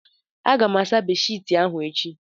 Aga m asa bedshiti ahụ echi